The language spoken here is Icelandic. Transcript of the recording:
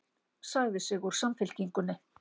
Sagði sig úr Samfylkingunni